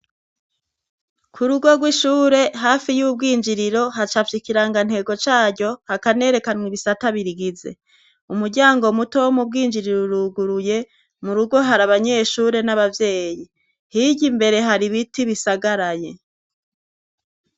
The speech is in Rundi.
Ku rugo rw’ishure, hafi y’urwinjiriro, hacyapfye ikirangantego caryo, hakanerekanwa ibisata birigize. Umuryango muto wo mu bwinjiriro uruguye. Mu rugo hari abanyeshure n'abavyeyi. Hirya imbere hari ibiti bisagaraye.